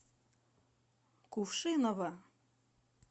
кувшиново